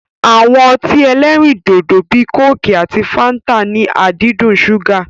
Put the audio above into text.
Awọn ọtí ẹlẹ́rindòdò bíi kóòkì àti fáńtà ní àdídùn ṣúgà.